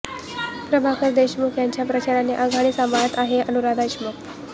प्रभाकर देशमुख यांच्या प्रचाराची आघाडी सांभाळत आहेत अनुराधा देशमुख